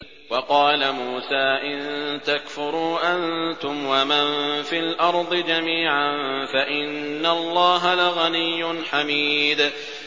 وَقَالَ مُوسَىٰ إِن تَكْفُرُوا أَنتُمْ وَمَن فِي الْأَرْضِ جَمِيعًا فَإِنَّ اللَّهَ لَغَنِيٌّ حَمِيدٌ